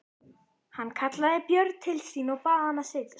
Hann kallaði Björn til sín og bað hann setjast.